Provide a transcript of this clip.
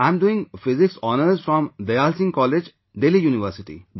I am doing Physics Honours from Dayal Singh College, Delhi University